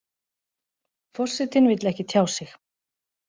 Forsetinn vill ekki tjá sig